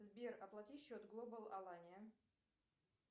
сбер оплати счет глобал алания